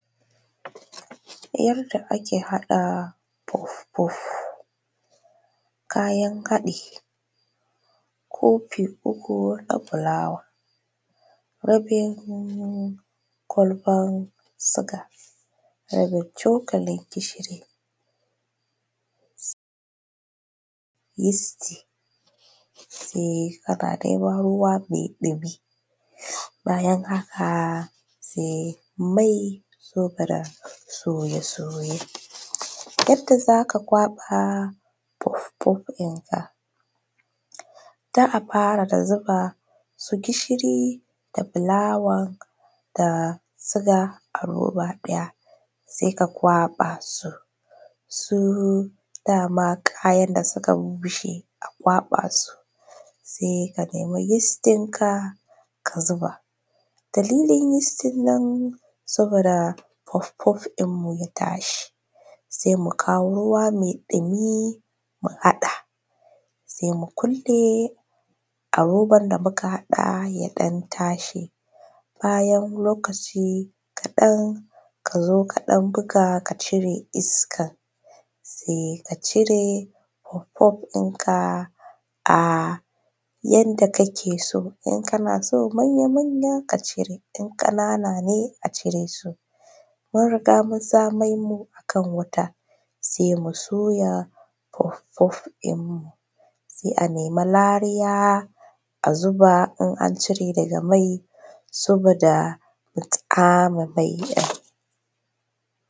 Yadda ake haɗa puf-puf, kayan haɗi kofi uku na fulawa, rabin kwalban suga, ranin cokalin gishiri, yisti, sai ana ɗebo ruwa mai ɗimi, bayan haka sai mai cufiran soye-soye, yadda zaka ƙwaɓa puf-puf ɗin ka, za a fara da zuba su gishiri da fulawa da suga a roba ɗaya sai ka ƙwaɓa su su dama kayan da suka bubbushe a ƙwaɓa su sai ɗebi yis ɗinka ka zuɓa, dalilin yis ɗin nan saboda puf-puf ɗinmu ya tashi sai mu kawo ruwa mai ɗumi mu haɗa sai mu kulle a roban da muka haɗa ya ɗan tashi, bayan lokaci kaɗan kazo ka ɗan bug aka cire iskan sai ka cire puf-puf ɗinka a yadda kake so in kanso manya-manya ka cire, in kanana ne a cire su, mun riga mun sa mai mu a cikin wuta sai mu soya puf-puf ɗin mu sai a nemi lariya a zuba in an cire daga mai saboda a tsame mai ɗin.